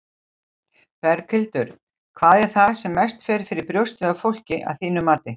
Berghildur: Hvað er það sem mest fer fyrir brjóstið á fólki, að þínu mati?